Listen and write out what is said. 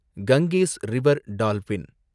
Ganges river dolphin